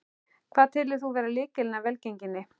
Hvað telur þú vera lykilinn að velgengninni?